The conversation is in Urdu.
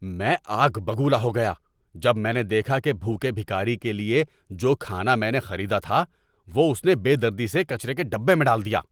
میں آگ بگولا ہو گیا جب میں نے دیکھا کہ بھوکے بھکاری کے لیے جو کھانا میں نے خریدا تھا وہ اس نے بے دردی سے کچرے کے ڈبے میں ڈال دیا۔